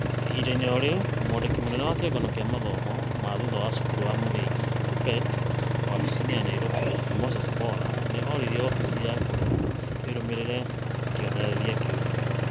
ĩhinda-inĩ o rĩu, mwandiki mũnene wa kĩungano kĩa mathomo ma thutha wa cukuru wa muthingi Kuppet wabici-inĩ ya Nairobi Moses Mbora nĩ orĩtie wabici ya bũrũri ĩrũmĩrĩre kĩonereria kĩu.